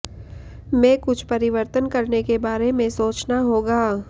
में कुछ परिवर्तन करने के बारे में सोचना होगा